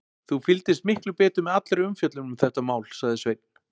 Þú fylgdist miklu betur með allri umfjöllun um þetta mál, sagði Sveinn.